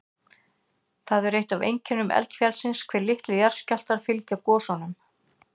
Það er eitt af einkennum eldfjallsins hve litlir jarðskjálftar fylgja gosunum.